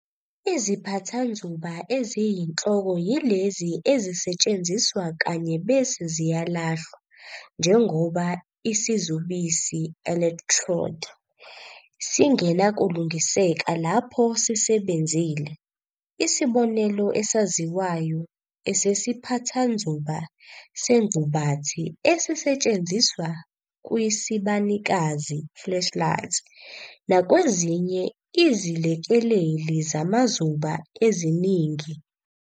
IziPhathanzuba eziyinhloko yilezo ezisetshenziswa kanye bese ziyalahlwa, njengoba isizubisi, electrode," singenakulungiseka lapho sisebenzile, isibonelo esaziwayo esesiphathanzuba sengqubathi esisetshenziswa kwisibanikazi, flashlight," nakwezinye izilekeleli zamazuba eziningi.